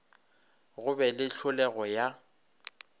go be le hlolego ya